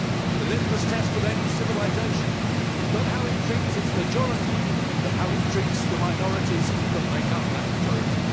The litmus test of any civilisation is not how it treats its majority, but how it treats the minorities that make up that majority.